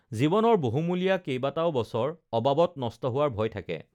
জীৱনৰ বহুমূ্লীয়া কেইবাটাও বছৰ অবাবত নষ্ট হোৱাৰ ভয় থাকে